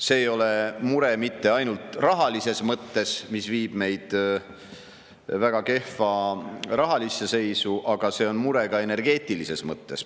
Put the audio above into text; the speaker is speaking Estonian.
See ei ole mure mitte ainult rahalises mõttes, kuna viib meid väga kehva rahalisse seisu, aga see on mure ka energeetilises mõttes.